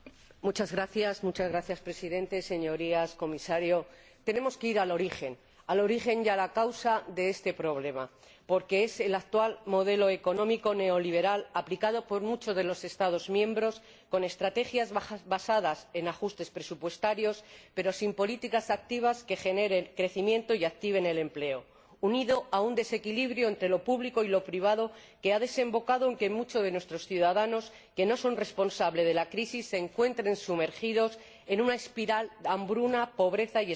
Señor Presidente, Señorías, señor Comisario, tenemos que ir al origen y a la causa de este problema, porque es el actual modelo económico neoliberal, aplicado por muchos de los Estados miembros con estrategias basadas en ajustes presupuestarios, pero sin políticas activas que generen crecimiento y activen el empleo, unido a un desequilibrio entre lo público y lo privado, lo que ha desembocado en que muchos de nuestros ciudadanos, que no son responsables de la crisis, se encuentren sumergidos en una espiral de hambruna, pobreza y exclusión social.